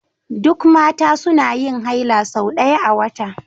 Duk Mata suna yin haila sau ɗaya a wata